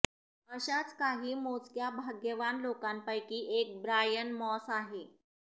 अशाच काही मोजक्या भाग्यवान लोकांपैकी एक ब्रायन मॉस आहे